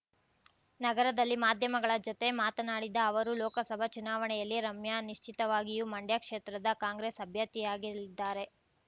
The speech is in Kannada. ನಗರದಲ್ಲಿ ಮಾಧ್ಯಮಗಳ ಜತೆ ಮಾತನಾಡಿದ ಅವರು ಲೋಕಸಭಾ ಚುನಾವಣೆಯಲ್ಲಿ ರಮ್ಯಾ ನಿಶ್ಚಿತವಾಗಿಯೂ ಮಂಡ್ಯ ಕ್ಷೇತ್ರದ ಕಾಂಗ್ರೆಸ್‌ ಅಭ್ಯರ್ಥಿಯಾಗಲಿದ್ದಾರೆ